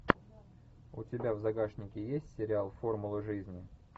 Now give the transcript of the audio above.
у тебя в загашнике есть сериал формулы жизни